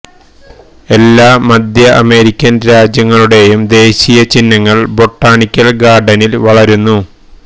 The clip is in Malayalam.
എല്ലാ മധ്യ അമേരിക്കൻ രാജ്യങ്ങളുടെയും ദേശീയ ചിഹ്നങ്ങൾ ബൊട്ടാണിക്കൽ ഗാർഡനിൽ വളരുന്നു